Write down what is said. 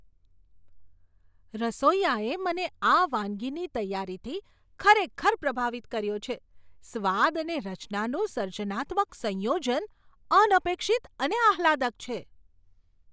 રસોઈયાએ મને આ વાનગીની તૈયારીથી ખરેખર પ્રભાવિત કર્યો છે, સ્વાદ અને રચનાનું સર્જનાત્મક સંયોજન અનપેક્ષિત અને આહ્લાદક છે.